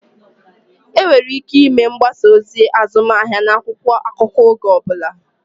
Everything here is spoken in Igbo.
Enwere ike ịme mgbasa ozi azụmahịa n'akwụkwọ akụkọ oge ọ bụla